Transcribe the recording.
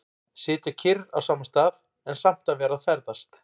Sitja kyrr á sama stað, en samt að vera að ferðast.